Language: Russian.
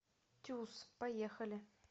тюз поехали